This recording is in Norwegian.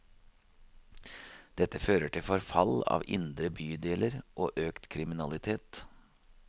Dette fører til forfall av indre bydeler og økt kriminalitet.